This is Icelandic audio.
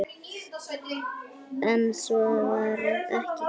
En svo var ekki gert.